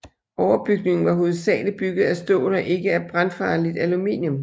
Overbygningen var hovedsageligt bygget af stål og ikke af brandfarligt aluminium